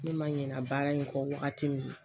Ne ma ɲina baara in kɔ wagati min